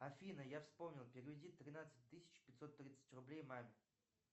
афина я вспомнил переведи тринадцать тысяч пятьсот тридцать рублей маме